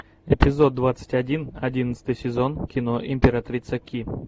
эпизод двадцать один одиннадцатый сезон кино императрица ки